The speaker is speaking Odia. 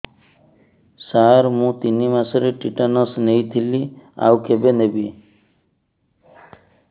ସାର ମୁ ତିନି ମାସରେ ଟିଟାନସ ନେଇଥିଲି ଆଉ କେବେ ନେବି